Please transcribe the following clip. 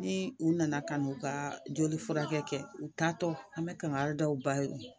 Ni u nana kan' u ka joli furakɛ kɛ u ta tɔ an bɛ kangari da u ba ye